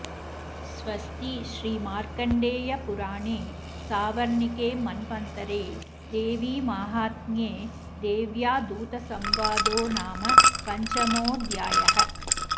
स्वस्ति श्रीमार्कण्डेयपुराणे सावर्णिके मन्वन्तरे देवीमाहात्म्ये देव्या दूतसंवादो नाम पञ्चमोऽध्यायः